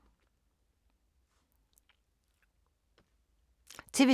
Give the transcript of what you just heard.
TV 2